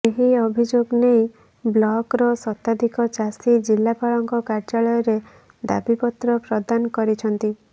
ଏହି ଅଭିଯୋଗ ନେଇ ବ୍ଲକ ର ଶତାଧିକ ଚାଷୀ ଜିଲ୍ଲାପାଳ ଙ୍କ କାର୍ୟ୍ୟାଳୟ ରେ ଦାବିପତ୍ର ପ୍ରଦାନ କରିଛନ୍ତି